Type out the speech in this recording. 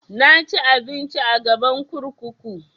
Na ci abinci a gaban kurkuku